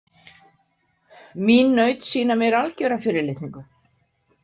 Mín naut sýna mér algjöra fyrirlitningu.